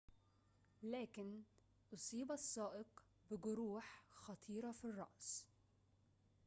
لكن أصيب السائق بجروح خطيرة في الرأس